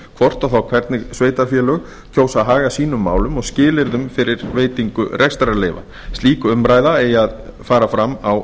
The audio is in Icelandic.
hvort og þá hvernig sveitarfélög kjósa að haga sínum málum og skilyrðum fyrir veitingu rekstrarleyfa slík umræða eigi að fara fram á